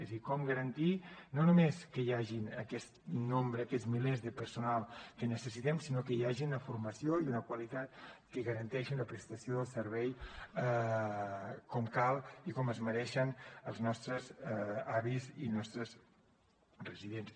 és a dir com garantir no només que hi hagi aquest nombre aquests milers de personal que necessitem sinó que hi hagi una formació i una qualitat que garanteixin la prestació del servei com cal i com es mereixen els nostres avis i els nostres residents